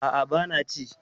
Aa, bana ci